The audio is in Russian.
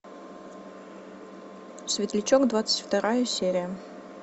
светлячок двадцать вторая серия